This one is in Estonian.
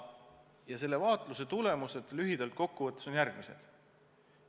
Ja selle vaatluse tulemused lühidalt kokku võttes on järgmised.